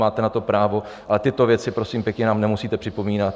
Máte na to právo, ale tyto věci prosím pěkně nám nemusíte připomínat.